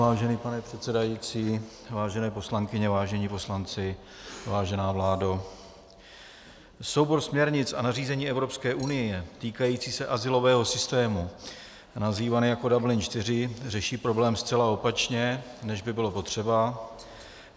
Vážený pane předsedající, vážené poslankyně, vážení poslanci, vážená vládo, soubor směrnic a nařízení Evropské unie týkající se azylového systému, nazývaný jako Dublin IV, řeší problém zcela opačně, než by bylo potřeba.